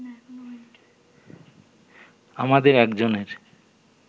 আমাদের একজনের